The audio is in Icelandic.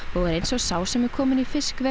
eins og sá sem er kominn í fiskveg